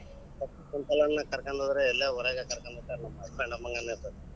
ಕುಂತಲೆನೆ ಕರಕೊಂಡ್ ಹೋದ್ರೆ ಇಲ್ಲೆ ಊರಗೆ ಕರಕೊಂಡ್ ಹೊಗತಾರ ನಮ್ husband .